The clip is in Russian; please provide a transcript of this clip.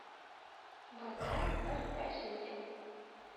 вода ноль пять литров